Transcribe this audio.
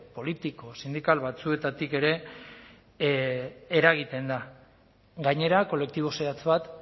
politiko sindikal batzuetatik ere eragiten da gainera kolektibo zehatz bat